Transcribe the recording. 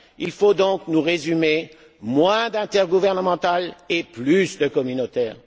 Il faut donc nous résumer moins d'intergouvernemental et plus de communautaire.